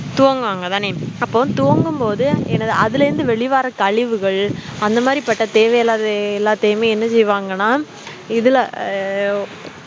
துவங்கு வாங்கத்தானே அப்போ துவங்கும்போது என்னது அதுல இருந்து வெளியே வர கழிவுகள் அந்த மாதிரி தேவையல்லாகழிவுகள் எல்லாத்தையுமே என்ன செய்வாங்கன இதுல ஆஹ்